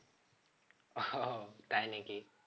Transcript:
ও তাই নাকি?